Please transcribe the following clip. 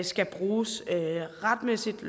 skal bruges retmæssigt